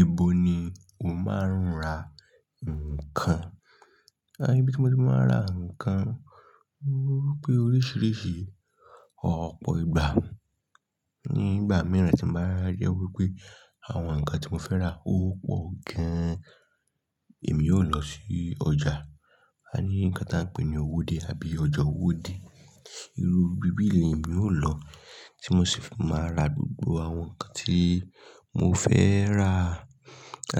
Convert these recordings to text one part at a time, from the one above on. Ibo ni o máa ń ra nǹkan? Ibi tí mo ti máa ń ra nǹkan, mo rí i pé oríṣiríṣi ọ̀pọ̀ ìgbà. Ní ìgbà mìíràn tí mo bá rí i pé àwọn nǹkan tí mo fẹ́ rà ó pọ̀ gan-an, èmi yóò lọ sí ọjà. A ní nǹkan tí a ń pè ní owóde àbí ọjà owóde. Irú bibi yìí ni èmi ó lọ tí mo sì fi máa ra gbogbo àwọn nǹkan tí mo fẹ́ rà.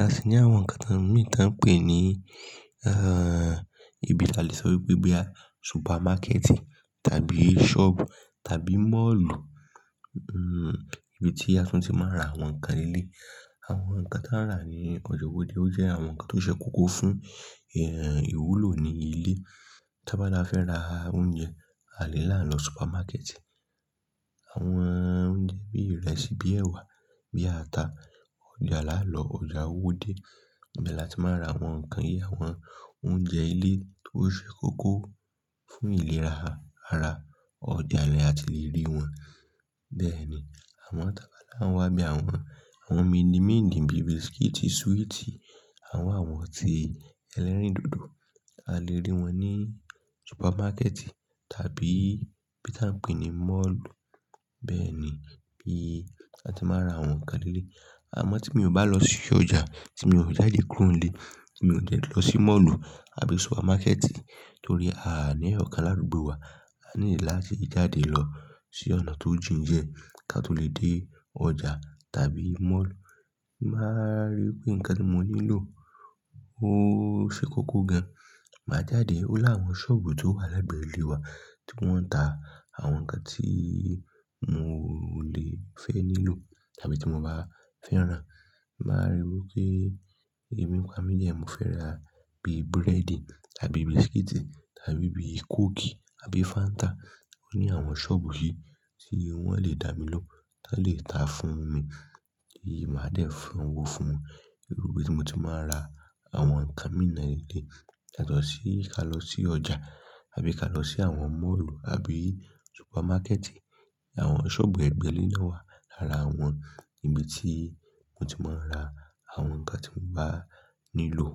A sì ní àwọn nǹkan mìí tí a ń pè ní, ibi tí a lè sọ wípé boya supermarket tàbí shop tàbí mall. Ibi tí a tún ti máa ń ra àwọn nǹkan léleyii. Àwọn nǹkan tí a n rà ní ọjà owóde ó jẹ́ àwọn nǹkan tí ó ṣe kókó fún ìwúlò ní ilé. Tábá la fẹ́ rà oúnjẹ, a lè lá n lọ supermarket. Àwọn oúnjẹ bíi ìrẹsì, bíi ẹ̀wà, bíi ata, ọjà la lọ, ọjà owóde. Ibẹ̀ la ti máa ń ra àwọn nǹkan yí, àwọn oúnjẹ ilé tó ṣe kókó fún ìlera ara, ọjà ni a ti le rí wọn. Bẹ́ẹ̀ ni àwọn tábá là ń wà bíi àwọn àwọn mínímíndìn bíi biscuit, sweet, àwọn àwọ̀n tí ẹlẹ́rìndòdò, a lè rí wọn ní supermarket tàbí bí tí a ń pè ni mall. Bẹ́ẹ̀ ni bí a ti máa ń ra àwọn nǹkan lé. Àmọ́ tí mi ò bá lọ sí ọjà, tí mi ò jáde kúrò nílé, tí mi ò dẹ́ lọ sí mall àbí supermarket, torí à ní ọ̀kan l'adugbo wa, a need láti jáde lọ sí ọ̀nà tó jìn die ká tó lè dé ọjà tàbí mall. Bí màá rí pé nǹkan tí mo nílò ó ṣe kókó gan-an, màá jáde ọ láwọn sọ́ọ̀bù tó wà legbẹ̀ẹ́ ilé wa tí wọ́n ń ta àwọn nǹkan tí mo lè fẹ́ nílò tàbí tí mo bá fẹ́ rà. Màá ríi wípé ebi n pa mi diẹ́ mo fẹ́ rà bíi búrẹ́dì àbí biscuit tàbí bíi kóòkì àbí Fanta, ó ní àwọn sọ́ọ̀bù yìí tí wọ́n lè dàmilohun, ton lè ta a fún mi tí màá dé fowo fún wọn. Irú ibi tí mo ti máa ń ra àwọn nǹkan mìí naa de yátọ̀sí ká lọ sí ọjà àbí ká lọ sí àwọn mall àbí supermarket. Àwọn sọ́ọ̀bù ẹgbẹ̀le naa wà lára àwọn ibi tí mo ti máa ń ra àwọn nǹkan tí mo bá nílò.